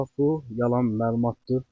Bu yalan məlumatdır.